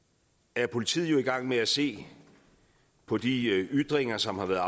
er politiet jo i gang med at se på de ytringer som er